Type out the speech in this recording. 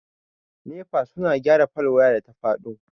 Nefa suna gyara fol wayan da ta faɗo.